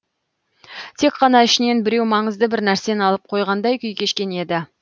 тек қана ішінен біреу маңызды бір нәрсені алып қойғандай күй кешкен еді